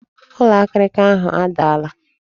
Ụlọ akịrịka ahụ adaala